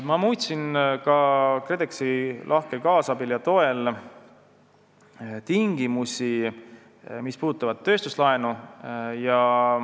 Ma muutsin ka KredExi lahkel kaasabil ja toel tingimusi, mis puudutavad tööstuslaenu.